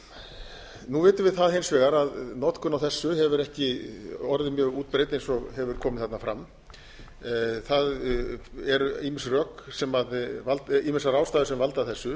orkunotkun nú vitum við það hins vegar að notkun á þessu hefur ekki orðið mjög útbreidd eins og hefur komið þarna fram það eru ýmsar ástæður sem valda þessu